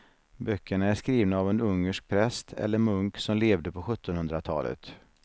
Böckerna är skrivna av en ungersk präst eller munk som levde på sjuttonhundratalet.